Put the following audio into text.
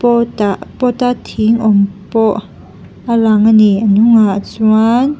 pawtah pot a thing awm pawh a lang ani a hnungah chuan--